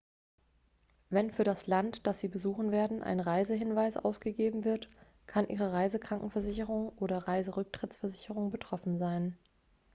wenn für das land dass sie besuchen werden ein reisehinweis ausgegeben wird kann ihre reisekrankenversicherung oder reiserücktrittsversicherung betroffen sein